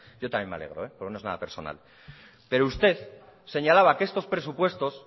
yo también me alegro porque no es nada personal pero usted señalaba que estos presupuestos